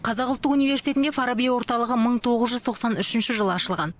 қазақ ұлттық университетінде фараби орталығы мың тоғыз жүз тоқсан үшінші жылы ашылған